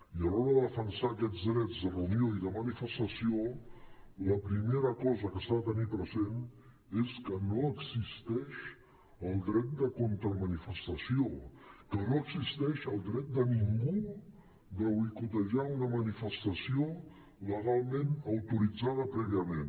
i a l’hora de defensar aquests drets de reunió i de manifestació la primera cosa que s’ha de tenir present és que no existeix el dret de contramanifestació que no existeix el dret de ningú a boicotejar una manifestació legalment autoritzada prèviament